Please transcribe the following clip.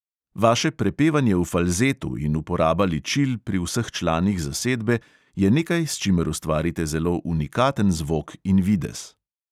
Vaše prepevanje v falzetu in uporaba ličil pri vseh članih zasedbe je nekaj, s čimer ustvarite zelo unikaten zvok in videz.